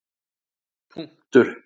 punktur